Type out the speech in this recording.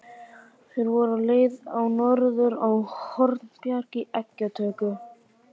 Þeir voru á leið norður á Hornbjarg í eggjatöku.